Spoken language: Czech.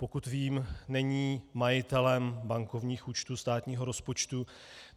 Pokud vím, není majitelem bankovních účtů státního rozpočtu.